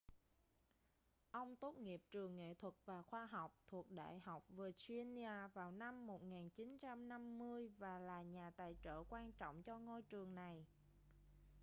ông tốt nghiệp trường nghệ thuật và khoa học thuộc đại học virginia vào năm 1950 và là nhà tài trợ quan trọng cho ngôi trường này